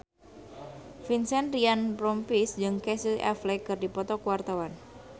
Vincent Ryan Rompies jeung Casey Affleck keur dipoto ku wartawan